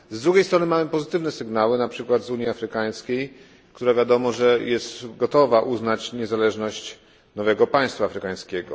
Z drugiej strony mamy pozytywne sygnały, na przykład z Unii Afrykańskiej, która wiadomo, że jest gotowa uznać niezależność nowego państwa afrykańskiego.